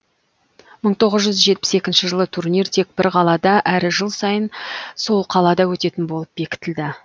мың тоғыз жүз жетпіс екінші жылы турнир тек бір қалада әрі жыл сайын сол қалада өтетін болып бекітілді